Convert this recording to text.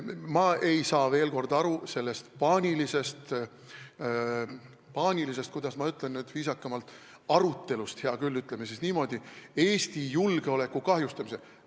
Ma ei saa, veel kord, aru sellest paanilisest arutelust Eesti julgeoleku kahjustamise üle.